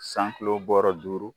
San kulo bɔɔrɔ duuru.